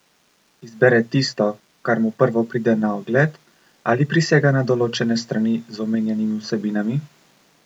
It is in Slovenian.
Izbere tisto, kar mu prvo pride na ogled ali prisega na določene strani z omenjenimi vsebinami?